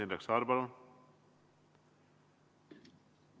Indrek Saar, palun!